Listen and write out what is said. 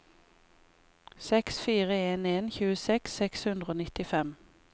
seks fire en en tjueseks seks hundre og nittifem